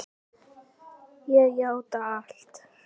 Ég játa allt